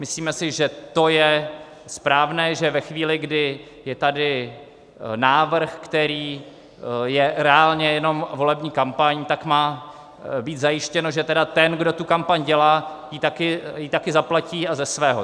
Myslíme si, že to je správné, že ve chvíli, kdy je tady návrh, který je reálně jenom volební kampaň, tak má být zajištěno, že tedy ten, kdo tu kampaň dělá, ji taky zaplatí, a ze svého.